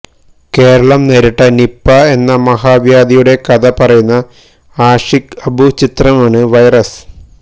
കേരളം നേരിട്ട നിപ്പാ എന്ന മഹാവ്യാധിയുടെ കഥ പറയുന്ന ആഷിഖ് അബുചിത്രമാണ് വൈറസ്